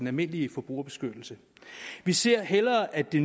almindelige forbrugerbeskyttelse vi ser hellere at det